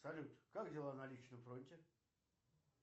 салют как дела на личном фронте